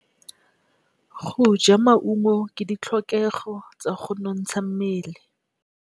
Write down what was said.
Go ja maungo ke ditlhokegô tsa go nontsha mmele.